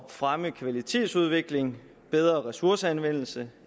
fremme kvalitetsudvikling bedre ressourceanvendelse